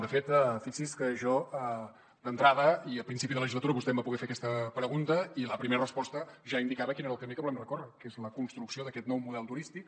de fet fixi’s que jo d’entrada i a principi de legislatura vostè em va poder fer aquesta pregunta i la primera resposta ja indicava quin era el camí que volem recórrer que és la construcció d’aquest nou model turístic